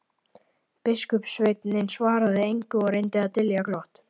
Biskupssveinninn svaraði engu og reyndi að dylja glott.